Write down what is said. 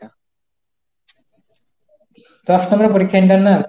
দশ number এর পরীক্ষা internal?